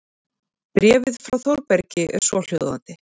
Bréfið frá Þórbergi er svohljóðandi